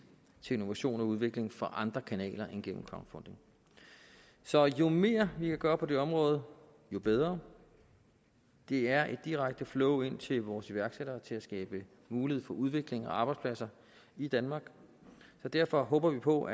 til innovation og udvikling fra andre kanaler end gennem crowdfunding så jo mere vi kan gøre på det område jo bedre det er et direkte flow ind til vores iværksættere til at skabe mulighed for udvikling af arbejdspladser i danmark så derfor håber vi på